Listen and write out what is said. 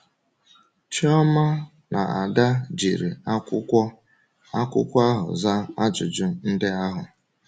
Chioma na Ada jiri akwụkwọ akwụkwọ ahụ zaa ajụjụ ndị ahụ.